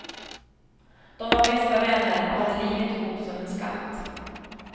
De var bästa vänner och hade livet ihop som en skatt.